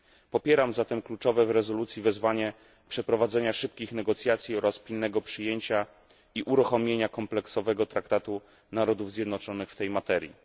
Popieram zatem kluczowe w rezolucji wezwanie do przeprowadzenia szybkich negocjacji oraz pilnego przyjęcia i uruchomienia kompleksowego traktatu Narodów Zjednoczonych w tej materii.